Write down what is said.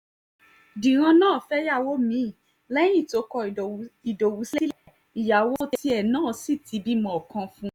dírán náà fẹ́yàwó mí-ín lẹ́yìn tó kọ ìdòwú sílé ìyàwó tiẹ̀ náà sí ti bímọ kan fún un